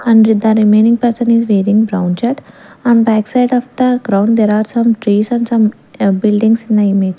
and the remaining person is wearing brown shirt and back side of the ground there are some trees and some uh buildings in the image.